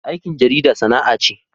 Aikin jarida sana'a ce.